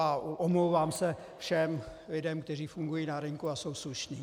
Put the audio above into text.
A omlouvám se všem lidem, kteří fungují na rynku a jsou slušní.